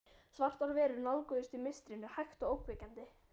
Svartar verur nálguðust í mistrinu, hægt og ógnvekjandi.